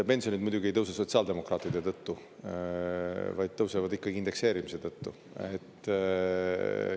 Pensionid muidugi ei tõuse sotsiaaldemokraatide tõttu, vaid tõusevad indekseerimise tõttu.